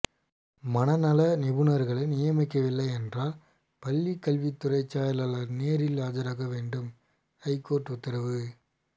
மனநல நிபுணர்களை நியமிக்கவில்லை என்றால் பள்ளிக்கல்வித்துறை செயலாளர் நேரில் ஆஜராக வேண்டும் ஐகோர்ட்டு உத்தரவு